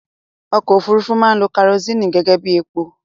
Ọkọ òfúrufú máa ń lo kerosini gẹ́gẹ́bí epo